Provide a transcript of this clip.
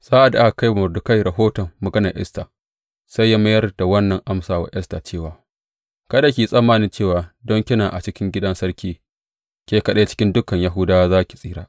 Sa’ad da aka kai wa Mordekai rahoton maganan Esta, sai ya mayar da wannan amsa wa Esta cewa, Kada ki yi tsammani cewa don kina a cikin gidan sarki, ke kaɗai cikin dukan Yahudawa za ki tsira.